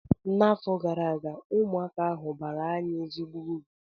N’afọ gara aga, ụmụaka ahụ baara anyị ezigbo uru